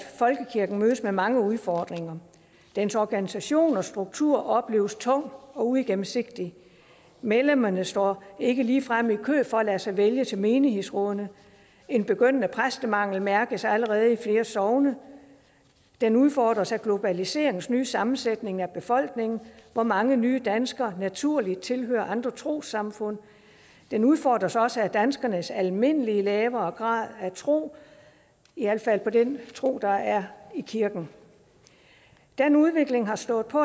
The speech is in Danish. folkekirken mødes af mange udfordringer dens organisation og struktur opleves tung og uigennemsigtig medlemmerne står ikke ligefrem i kø for at lade sig vælge til menighedsrådene en begyndende præstemangel mærkes allerede i flere sogne den udfordres af globaliseringens nye sammensætning af befolkningen hvor mange nye danskere naturligt tilhører andre trossamfund den udfordres også af danskernes almindelige lavere grad af tro i alt fald den tro der er i kirken den udvikling har stået på